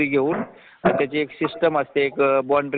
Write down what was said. आपण आपल्या गरजा भागवण्यासाठी नोकरी करत असतो